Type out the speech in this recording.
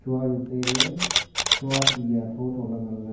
shua chu tai le shua ti a thotho le ngan le.